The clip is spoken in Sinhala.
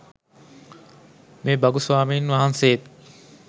මේ භගු ස්වාමින් වහන්සේත්